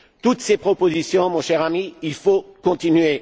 Toutes ces propositions, mon cher ami, il faut les continuer.